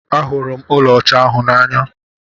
Ahụrụ m ụlọ ọcha ahụ n'anya.